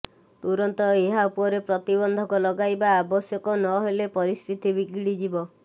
ତୁରନ୍ତ ଏହା ଉପରେ ପ୍ରତିବନ୍ଧକ ଲଗାଇବା ଆବଶ୍ୟକ ନହେଲେ ପରିସ୍ଥିତି ବିଗିଡିଯିବ